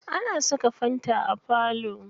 Ana saka fanta a falo.